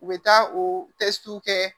U bɛ taa o kɛ